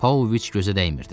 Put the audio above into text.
Pauloviç gözə dəymirdi.